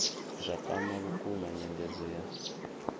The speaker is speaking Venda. zwa kwama vhukuma nyengedzo ya